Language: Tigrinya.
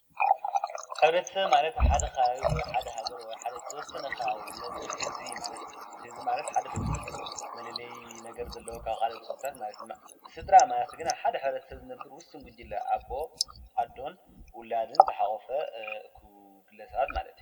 ሕብረተሰብ ማለት ሓደከባብ ወይ ሓደ ሃገር ወይ ሓደ ተወሰነኻ ባብ ዘነብር እዚ ማለቲ ሕዚ ማለት ሓደፉል መለለይ ነገር ዘለዉ ካብ ኻልትሱታት ናለትሥድራ ማለት ግን ሓደ ስድራ ዝነብር ውስን ጕጅለ ኣቦ ፣ኣዶን ፣ዉላድን ፣ተሓቐፈ እኽብግለሰባት መለት እዩ?